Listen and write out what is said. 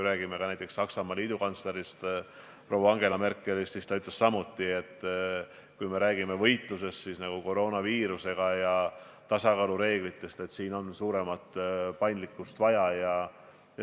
Näiteks Saksamaa liidukantsler proua Angela Merkel ütles samuti, et kui me räägime võitlusest koroonaviirusega ja tasakaalureeglitest, siis siin on suuremat paindlikkust vaja.